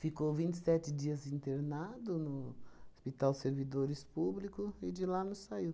Ficou vinte e sete dias internado no Hospital Servidores Público e de lá não saiu.